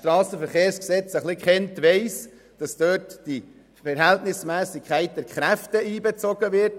Wer das Strassenverkehrsgesetz (SG) etwas kennt, weiss, dass dort die Verhältnismässigkeit der Kräfte einbezogen wird.